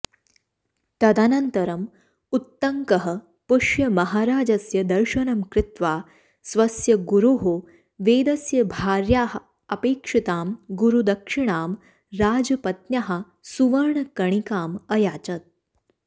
तदनन्तरम् उत्तङ्कः पुष्यमहाराजस्य दर्शनं कृत्वा स्वस्य गुरोः वेदस्य भार्याः अपेक्षितां गुरुदक्षिणां राजपत्न्याः सुवर्णकर्णिकां अयाचत्